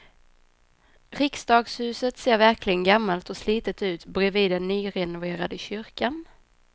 Riksdagshuset ser verkligen gammalt och slitet ut bredvid den nyrenoverade kyrkan.